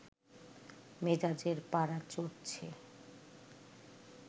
মেজাজের পারা চড়ছে